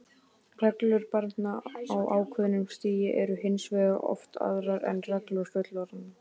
Reglur barna á ákveðnu stigi eru hins vegar oft aðrar en reglur fullorðinna.